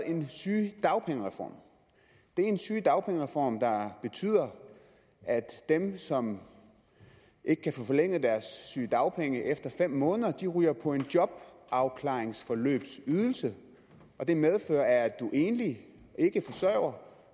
en sygedagpengereform det er en sygedagpengereform der betyder at dem som ikke kan få forlænget deres sygedagpenge efter fem måneder ryger på en jobafklaringsforløbsydelse og det medfører at er man enlig ikkeforsørger